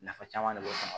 Nafa caman de b'o kɔnɔ